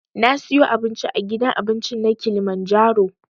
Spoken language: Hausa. Na siyo abinci a gidan abincin na kilimanjaro